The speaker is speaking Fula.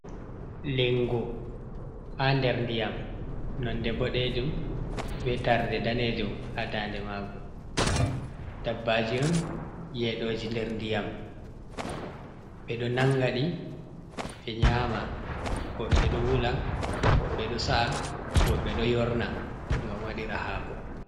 Lingo ha nder ndiyam nonde boɗejum be tarde danejum ha daande maagu, dabbaaji on yeɗoji nder ndiyam, ɓe ɗo nangaɗi be nyaama, woɓɓe ɗo wula, woɓɓe ɗo sa'a, woɓɓe ɗo yorna ngam waɗira haako.